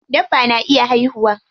Dabba na iya haihuwa.